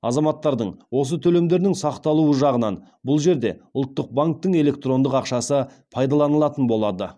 азаматтардың осы төлемдерінің сақталуы жағынан бұл жерде ұлттық банктің электрондық ақшасы пайдаланылатын болады